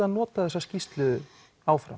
að nota þessa skýrslu áfram